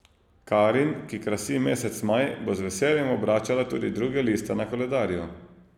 Karin, ki krasi mesec maj, bo z veseljem obračala tudi druge liste na koledarju.